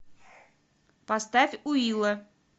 поставь уилла